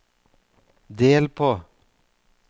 del på